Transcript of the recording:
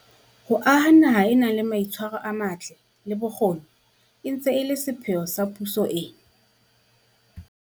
Ho aha naha e nang le mai tshwaro a matle, le bokgoni e ntse e le sepheo sa puso ena.